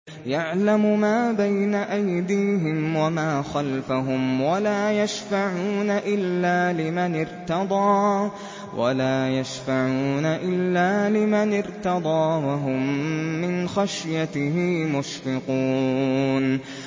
يَعْلَمُ مَا بَيْنَ أَيْدِيهِمْ وَمَا خَلْفَهُمْ وَلَا يَشْفَعُونَ إِلَّا لِمَنِ ارْتَضَىٰ وَهُم مِّنْ خَشْيَتِهِ مُشْفِقُونَ